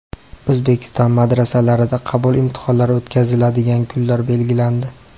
O‘zbekiston madrasalarida qabul imtihonlari o‘tkaziladigan kunlar belgilandi.